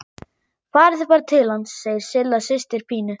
Farið þið bara til hans, segir Silla systir Pínu.